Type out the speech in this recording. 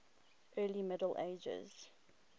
early middle ages